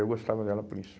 Eu gostava dela por isso.